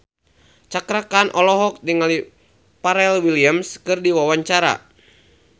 Cakra Khan olohok ningali Pharrell Williams keur diwawancara